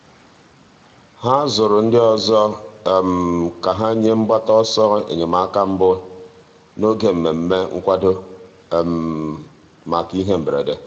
ha zụrụ ndị ọzọ ka ha nye mgbata ọsọ enyemaka mbụ n'oge mmemme nkwado maka ihe mberede.